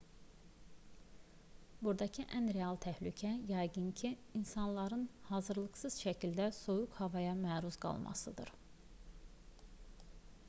buradakı ən real təhlükə yəqin ki insanların hazırlıqsız şəkildə soyuq havaya məruz qalmasıdır